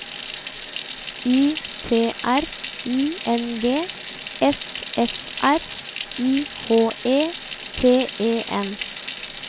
Y T R I N G S F R I H E T E N